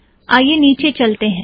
आईये निचे चलते हैं